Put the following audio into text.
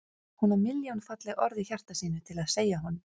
Hún á milljón falleg orð í hjarta sínu til að segja honum.